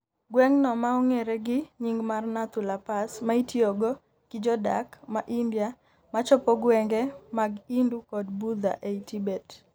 gweng'no maong'ere gi nying mar Nathu La Pass maitiyogo gi jodak ma India machopo gwenge mag Hindu kod Budha ei Tibet.